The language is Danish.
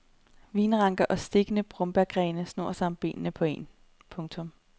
Vinranker og stikkende brombærgrene snor sig om benene på en. punktum